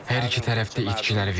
Hər iki tərəf də itkilər verir.